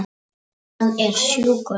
Hann er sjúkur.